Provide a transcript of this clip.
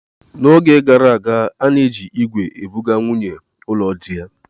N'oge gara aga, a na-eji ígwè ebuga nwunyi ụlọ diya.